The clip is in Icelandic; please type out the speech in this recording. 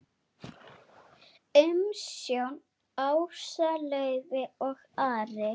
Umsjón Ása Laufey og Ari.